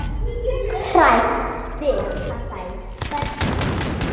Svar: Veit það ekki.